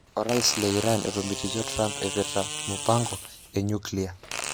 Orais le Iran etomitikio Trump epirta mupango e nyuklia